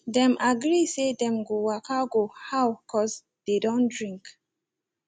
dem agree say them go waka go how cause dey don drink